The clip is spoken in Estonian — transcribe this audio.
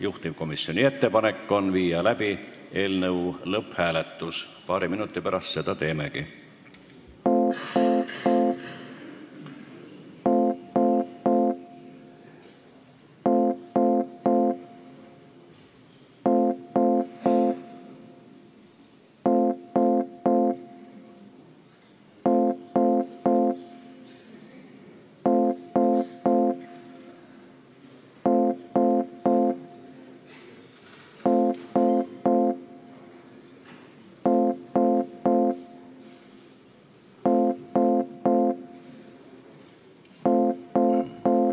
Juhtivkomisjoni ettepanek on panna eelnõu lõpphääletusele, paari minuti pärast seda teemegi.